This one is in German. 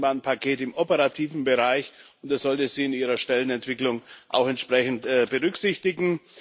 4. Eisenbahnpaket neue Aufgaben im operativen Bereich, und das sollte sie in ihrer Stellenentwicklung auch entsprechend berücksichtigen.